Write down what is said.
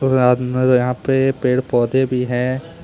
यहां पे पेड़ पौधे भी हैं।